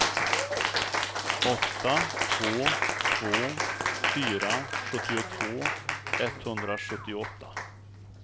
åtta två två fyra sjuttiotvå etthundrasjuttioåtta